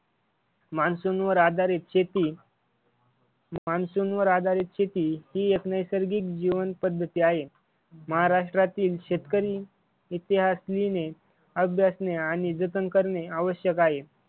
Monsoon वर आधारित शेती मान्सून वर आधारित शेती ही एक नैसर्गिक जीवन पद्धती आहे. महाराष्ट्रातील शेतकरी इतिहास लिहिणे, अभ्यासणे आणि जतन करणे आवश्यक आहे.